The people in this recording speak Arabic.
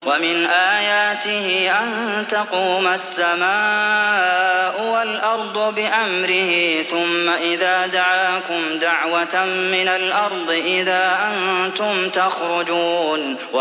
وَمِنْ آيَاتِهِ أَن تَقُومَ السَّمَاءُ وَالْأَرْضُ بِأَمْرِهِ ۚ ثُمَّ إِذَا دَعَاكُمْ دَعْوَةً مِّنَ الْأَرْضِ إِذَا أَنتُمْ تَخْرُجُونَ